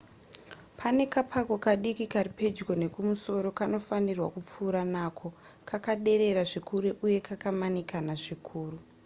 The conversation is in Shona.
pane kapako kadiki kari pedyo nekumusoro kanofanirwa kupfuurwa nako kakaderera zvikuru uye kakamanikana zvikuru